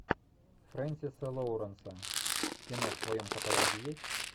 фрэнсиса лоуренса кино в твоем каталоге есть